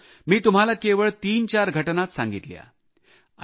मित्रांनो मी तुम्हाला केवळ तीनचार घटनाच सांगितल्या